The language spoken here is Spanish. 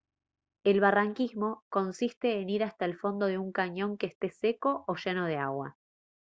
el barranquismo consiste en ir hasta el fondo de un cañón que esté seco o lleno de agua